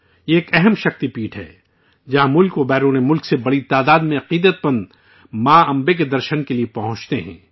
یہ ایک اہم شکتی پیٹھ ہے، جہاں ملک و بیرون ملک سے بڑی تعداد میں عقیدت مند ماں امبے کے درشن کے لیے پہنچتے ہیں